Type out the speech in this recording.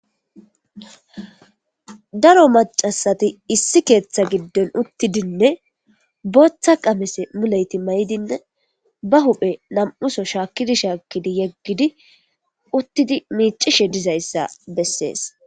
Daro maca asati issi keeththa gidon utidine botha qamise muleyiti mayidine ba huphe nam'u so shakidi shakidi yegidi utidi micishe dizayisa beses.